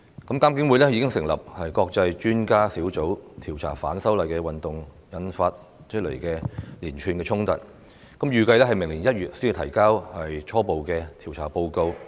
監警會已經成立國際專家小組調查由反修例運動引發的連串衝突，預計明年1月才提交初步調查報告。